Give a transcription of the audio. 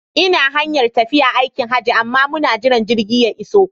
Ina hanyar tafiya aikin Hajji amma muna jiran jirgi ya iso